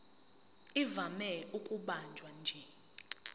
ivame ukubanjwa nje